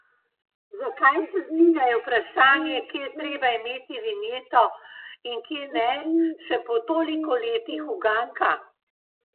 Zakaj se zdi, da je vprašanje, kje je treba imeti vinjeto in kje ne, še po toliko letih uganka?